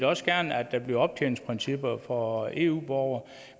også gerne at der bliver optjeningsprincipper for eu borgere